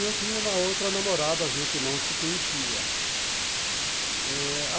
Eu tinha uma outra namorada, a gente não se conhecia eh